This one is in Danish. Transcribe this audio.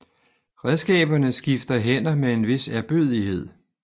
Redskaberne skifter hænder med en vis ærbødighed